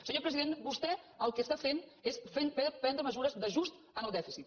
senyor president vostè el que fa és prendre mesures d’ajust en el dèficit